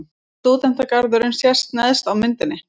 Stúdentagarðurinn sést neðst á myndinni.